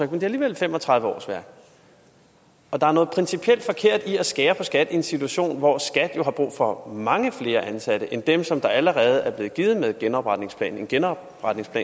det er alligevel fem og tredive årsværk og der er noget principielt forkert i at skære ned på skat i en situation hvor skat jo har brug for mange flere ansatte end dem som allerede er blevet givet med genopretningsplanen en genopretningsplan